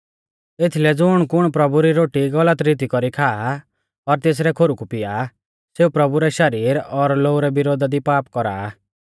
एथीलै ज़ुणकुण प्रभु री रोटी गलत रीती कौरी खा और तेसरै खोरु कु पिया सेऊ प्रभु रै शरीर और लोऊ रै विरोधा दी पाप कौरा आ